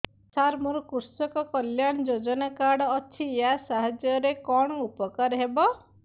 ସାର ମୋର କୃଷକ କଲ୍ୟାଣ ଯୋଜନା କାର୍ଡ ଅଛି ୟା ସାହାଯ୍ୟ ରେ କଣ ଉପକାର ହେବ